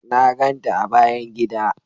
Na ganta a bayan gida.